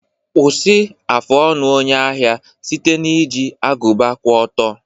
Kwụsị afụ ọnụ onye ahịa site na iji agụba kwụ ọtọ.